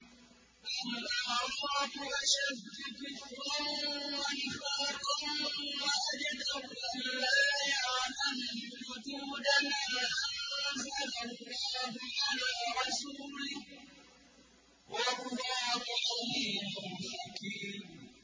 الْأَعْرَابُ أَشَدُّ كُفْرًا وَنِفَاقًا وَأَجْدَرُ أَلَّا يَعْلَمُوا حُدُودَ مَا أَنزَلَ اللَّهُ عَلَىٰ رَسُولِهِ ۗ وَاللَّهُ عَلِيمٌ حَكِيمٌ